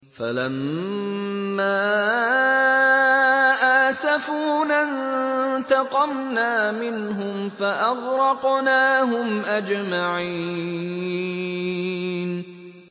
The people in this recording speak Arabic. فَلَمَّا آسَفُونَا انتَقَمْنَا مِنْهُمْ فَأَغْرَقْنَاهُمْ أَجْمَعِينَ